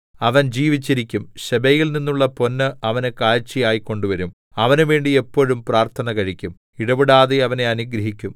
അവൻ ജീവിച്ചിരിക്കും ശെബയിൽ നിന്നുള്ള പൊന്ന് അവന് കാഴ്ചയായി കൊണ്ട് വരും അവനുവേണ്ടി എപ്പോഴും പ്രാർത്ഥന കഴിക്കും ഇടവിടാതെ അവനെ അനുഗ്രഹിക്കും